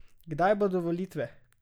Kdaj bodo volitve?